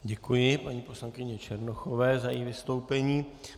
Děkuji paní poslankyni Černochové za její vystoupení.